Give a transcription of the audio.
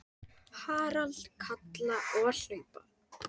Harald kalla og hlaupa.